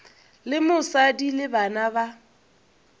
le mosadi le bana ba